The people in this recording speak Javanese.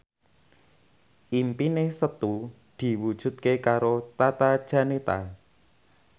impine Setu diwujudke karo Tata Janeta